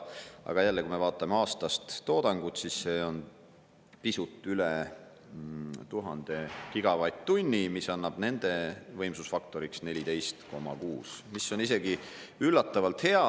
Aga kui me vaatame aastast toodangut, siis see on pisut üle 1000 gigavatt-tunni, mis annab nende võimsusfaktoriks 14,6%, mis on isegi üllatavalt hea.